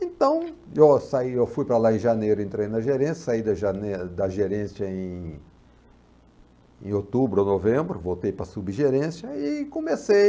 Então, eu saí, eu fui para lá em janeiro, entrei na gerência, saí da da gerência em em outubro ou novembro, voltei para a subgerência e comecei.